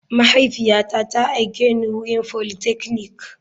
Mahaifiyata ta aike ni wurin politechnic.